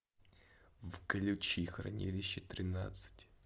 включи хранилище тринадцать